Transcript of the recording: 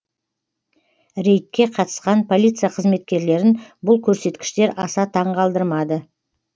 рейдке қатысқан полиция қызметкерлерін бұл көрсеткіштер аса таңғалдырмады